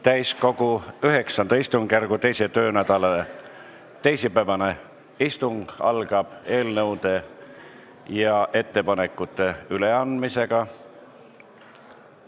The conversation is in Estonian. Täiskogu IX istungjärgu teise töönädala teisipäevane istung algab eelnõude ja ettepanekute üleandmisega.